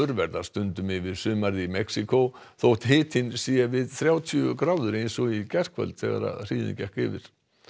verða stundum yfir sumarið í Mexíkó þótt hitinn sé við þrjátíu gráður eins og í gærkvöld þegar hríðin gekk yfir